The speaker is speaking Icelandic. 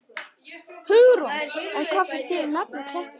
Hugrún: En hvað finnst þér um nafnið, Klettaskóli?